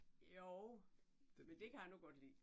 Jo. Men det kan jeg nu godt lide